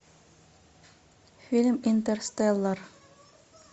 фильм интерстеллар